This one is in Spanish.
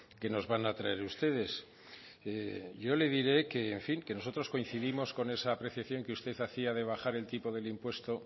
que nos van a traer ustedes yo le diré que en fin que nosotros coincidimos con esa apreciación que hacía usted de bajar el tipo del impuesto